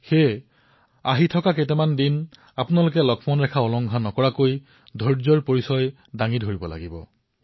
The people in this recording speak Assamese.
এতিয়া আপোনালোকে আগন্তুক কেইবাটাও দিনলৈ ধৈৰ্য প্ৰদৰ্শিত কৰিব লাগিব লক্ষ্মণ ৰেখা পালন কৰিব লাগিব